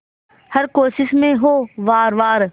हर कोशिश में हो वार वार